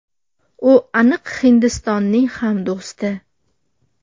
U aniq Hindistonning ham do‘sti”.